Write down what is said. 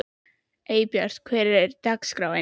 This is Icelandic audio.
Eybjört, hvernig er dagskráin?